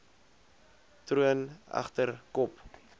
troon egter kop